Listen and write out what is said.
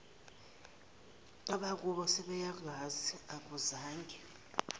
abakubo sebeyangazi akuzange